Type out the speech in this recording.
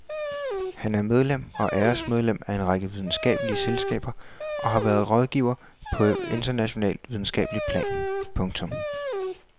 Han er medlem og æresmedlem af en række videnskabelige selskaber og har været rådgiver på internationalt videnskabeligt plan. punktum